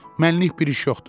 Mənlik bir iş yoxdur.